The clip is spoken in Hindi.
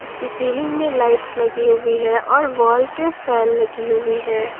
इसके सीलिंग में लाइट्स लगी हुई है और वॉल पे फैन लगी हुई है।